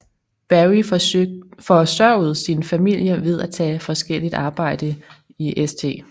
Berry forsørgede sin familie ved at tage forskelligt arbejde i St